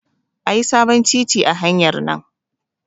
Ayi sabon titi a hanyar nan